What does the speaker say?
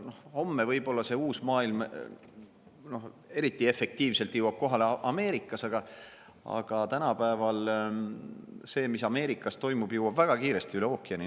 Homme jõuab see uus maailm eriti efektiivselt kohale ilmselt Ameerikas, aga tänapäeval see, mis Ameerikas toimub, jõuab väga kiiresti üle ookeani.